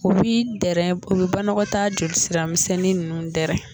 U bi dɛrɛ u bɛ banɔgɔtaa joli siramisɛnnin nunnu dɛrɛ.